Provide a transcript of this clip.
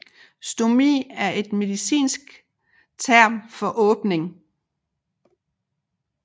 Stomi er et medicinsk term for åbning